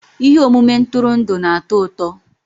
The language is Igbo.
Ihe omume ntụrụndụ na-atọ ụtọ.